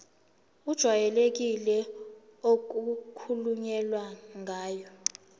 ejwayelekile okukhulunywe ngayo